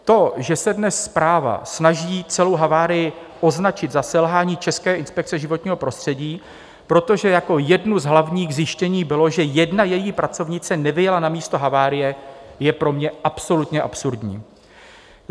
To, že se dnes zpráva snaží celou havárii označit za selhání České inspekce životního prostředí, protože jako jedno z hlavních zjištění bylo, že jedna její pracovnice nevyjela na místo havárie, je pro mě absolutně absurdní.